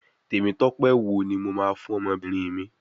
Temitope wo ni mo máa fún ọmọbìnrin mi.